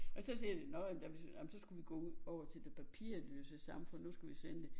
Og så siger vi nårh jamen ej men så skulle vi gå over til det papirløse samfund nu skal vi sende